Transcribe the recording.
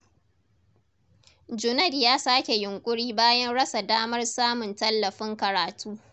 Junaid ya sake yunƙuri bayan rasa damar samun tallafin karatu.